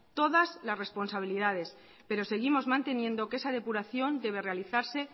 todas las responsabilidades pero seguimos manteniendo que esa depuración debe realizarse